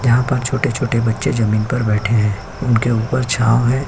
यहाँ पर छोटे-छोटे बच्चे जमींन पर बैठे हैं उनके ऊपर छाव है।